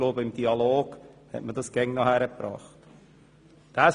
Ich denke, dass man dies im Dialog mit der Regierung immer hinbekommen hat.